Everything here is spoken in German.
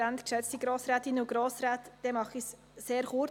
Dann mache ich es sehr kurz.